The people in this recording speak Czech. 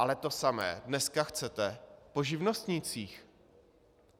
Ale to samé dneska chcete po živnostnících.